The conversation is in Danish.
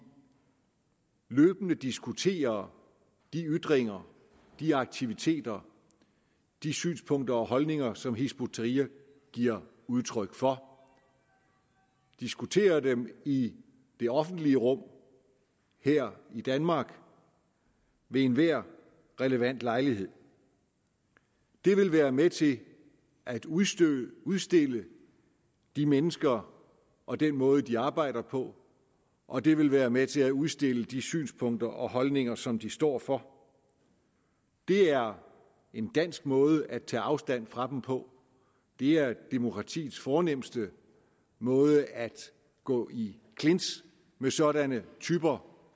løbende diskuterer de ytringer de aktiviteter de synspunkter og holdninger som hizb ut tahrir giver udtryk for diskuterer dem i det offentlige rum her i danmark ved enhver relevant lejlighed det vil være med til at udstille udstille de mennesker og den måde de arbejder på og det vil være med til at udstille de synspunkter og holdninger som de står for det er en dansk måde at tage afstand fra dem på det er demokratiets fornemste måde at gå i clinch med sådanne typer